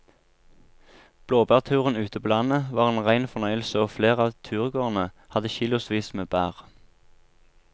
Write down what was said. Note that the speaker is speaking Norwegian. Blåbærturen ute på landet var en rein fornøyelse og flere av turgåerene hadde kilosvis med bær.